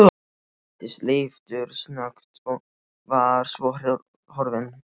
Hann birtist leiftursnöggt og var svo horfinn.